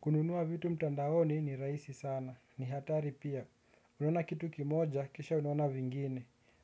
Kununua vitu mtandaoni ni raisi sana, ni hatari pia. Unawona kitu kimoja, kisha unawona vingine.